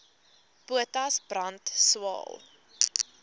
potas brand swael